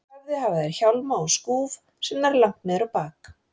höfði hafa þeir hjálma og skúf sem nær langt niður á bak.